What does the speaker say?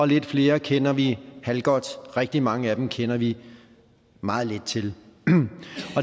lidt flere kender vi halvgodt og rigtig mange af dem kender vi meget lidt til